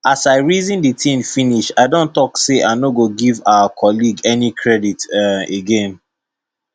as i reason the thing finish i don talk say i no go give our colleague any credit um again